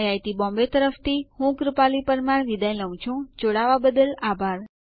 IIT Bombay તરફ થી ભાષાંતર કરનાર હું કૃપાલી પરમાર વિદાય લઉં છું જોડવા બદલ આભાર